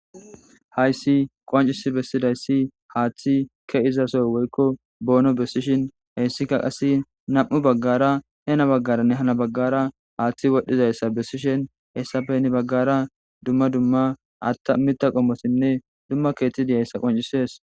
hayssi qoncisi bessidayssi haaththi ke izasoy woykko boono bessishin heyssika qasse nam7u baggara hena baggaranne hana baggara haaththi wodhdhidayssa bessishin hessape ni baggara dumma dumma atta mitta qommosinne dumma keetidiyayssa qoncisees